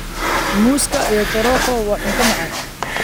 Muuska iyo choroko waa cunto macaan.